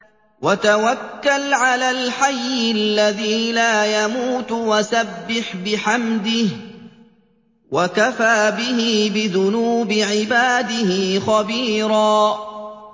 وَتَوَكَّلْ عَلَى الْحَيِّ الَّذِي لَا يَمُوتُ وَسَبِّحْ بِحَمْدِهِ ۚ وَكَفَىٰ بِهِ بِذُنُوبِ عِبَادِهِ خَبِيرًا